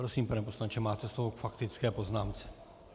Prosím, pane poslanče, máte slovo k faktické poznámce.